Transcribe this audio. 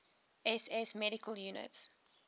ss medical units